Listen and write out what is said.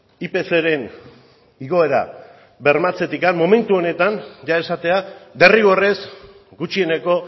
ipcren igoera bermatzetik momentu honetan esatea derrigorrez gutxieneko